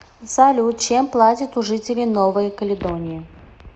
салют чем платят у жителей новой каледонии